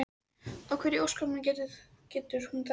Magnús: Og hvernig í ósköpunum getur hún þetta?